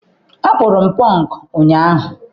Akpụrụ m pọnk ụnyaahụ.